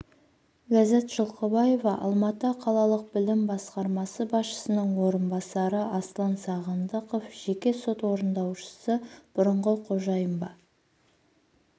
ләззат жылқыбаева алматы қалалық білім басқармасы басшысының орынбасары аслан сағындықов жеке сот орындаушысы бұрыны қожайын ба